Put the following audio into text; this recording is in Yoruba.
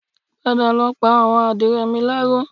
Padà lọ pa àwọn àdìrẹ mi láró